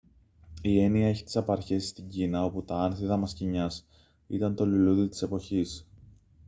η έννοια έχει τις απαρχές της στην κίνα όπου τα άνθη δαμασκηνιάς ήταν το λουλούδι της εποχής